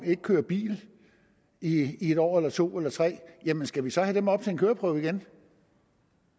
ikke kører bil i en år eller to eller tre år jamen skal vi så have dem op til køreprøve igen